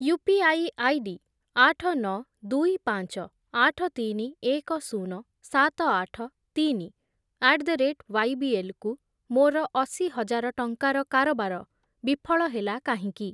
UPI ID ଆଠ, ନଅ, ଦୁଇ, ପାଞ୍ଚ, ଆଠ, ତିନି, ଏକ, ଶୂନ, ସାତ, ଆଠ, ତିନି ଆଟ୍ ଦ ରେଟ୍ ୱାଇବିଏଲ୍ କୁ ମୋର ଅଶି ହଜାର ଟଙ୍କାର କାରବାର ବିଫଳ ହେଲା କାହିଁକି?